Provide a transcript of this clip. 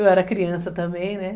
Eu era criança também, né?